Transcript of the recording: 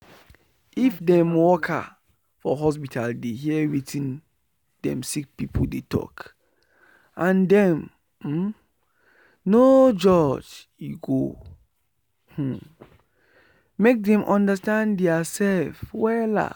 if dem worker for hospital dey hear wetin dem sick pipu dey talk and dem um no judge e go um make dem understand dia sef wella.